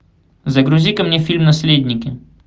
загрузи ка мне фильм наследники